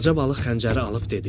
Balaca balıq xəncəri alıb dedi: